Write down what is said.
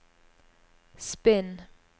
spinn